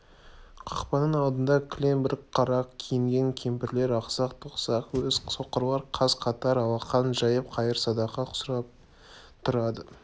қақпаның алдында кілең бір қара киінген кемпірлер ақсақ-тоқсақ әз соқырлар қаз-қатар алақан жайып қайыр-садақа сұрап тұрады